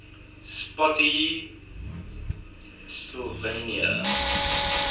spottsylvania